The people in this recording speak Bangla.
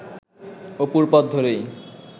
অপুর পথ ধরেই